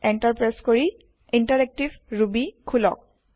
enter press কৰি interactive Ruby খোলক